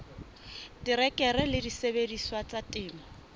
terekere le disebediswa tsa temo